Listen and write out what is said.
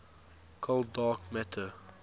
cold dark matter